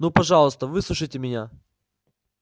ну пожалуйста выслушайте меня